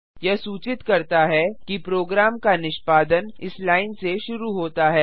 यह सूचित करता है कि प्रोग्राम का निष्पादन इस लाइन से शुरू होता है